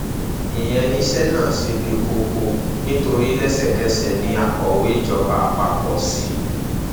ìyẹn ni iṣẹ náà ṣe le koko nítorí lẹsẹkẹsẹ ní akọwé ìjọba àpapọ c